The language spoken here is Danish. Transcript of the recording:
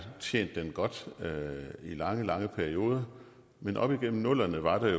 tjent den godt i lange lange perioder men op igennem nullerne var der